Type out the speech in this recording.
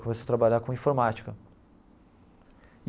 Começou a trabalhar com informática.